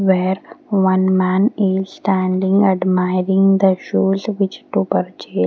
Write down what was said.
where one man is standing admiring the shoes which to purchase.